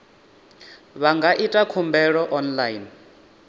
vha nga ita khumbelo online